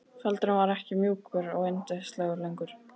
Feldurinn var ekki mjúkur og yndislegur lengur.